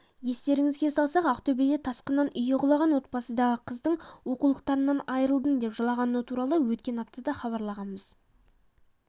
естеріңізге салсақ ақтөбеде тасқыннан үйі құлаған отбасындағы қыздың оқулықтарымнан айырылдым деп жылағаны туралы өткен атада хабарлағанбыз